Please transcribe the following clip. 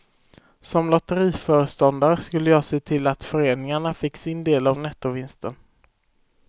Som lotteriföreståndare skulle jag se till att föreningarna fick sin del av nettovinsten.